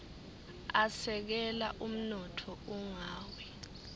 asekela umnotfo ungawi